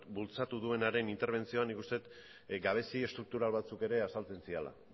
bultzatu duenaren interbentzioan nik uste dut gabezi estruktural batzuk ere azaltzen zirela